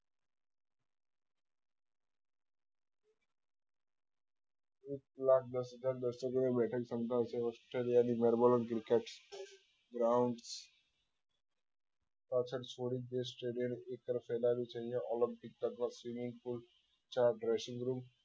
એક લાખ દસ હજાર બસો બે બેઠક ક્ષમતા છે australia ની melbourne ground પાછળ છોડીને stadium એક તરફ ફેલાવ્યું છે અહી આ olympic તથા swimming pool ચાર dressing room